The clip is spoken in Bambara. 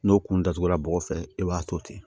N'o kun datugulan bɔgɔ fɛ i b'a to ten